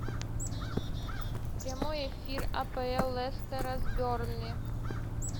прямой эфир апл летсера с бернли